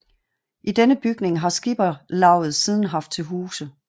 I denne bygning har skipperlavet siden haft til huse